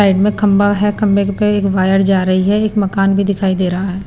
side में खंभा है खंभे के ऊपर एक वायर जा रही है एक मकान भी दिखाई दे रहा--